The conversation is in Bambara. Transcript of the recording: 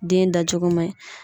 Den dacogo man ɲi